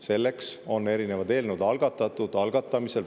Selleks on erinevad eelnõud algatatud, algatamisel.